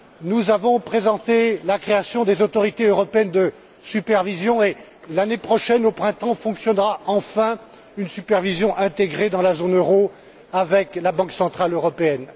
Nous avons présenté la création des autorités européennes de supervision et, l'année prochaine au printemps, fonctionnera, enfin, une supervision intégrée dans la zone euro avec la Banque centrale européenne.